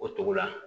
O togo la